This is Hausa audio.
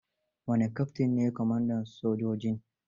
Wani Keftin ne kwamandan sojojin.